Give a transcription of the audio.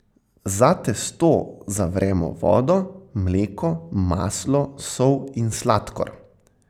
Za testo zavremo vodo, mleko, maslo, sol in sladkor.